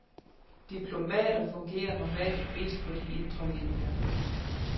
Diplomater fungerer normalt mest på de indre linier.